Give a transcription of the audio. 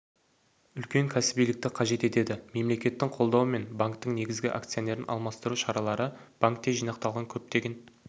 үлкен кәсібилікті қажет етеді мемлекеттің қолдауы мен банктің негізгі акционерін алмастыру шаралары банкте жинақталған көптеген